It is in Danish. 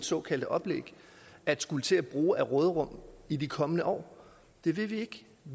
såkaldte oplæg at skulle til at bruge af råderummet i de kommende år det vil vi ikke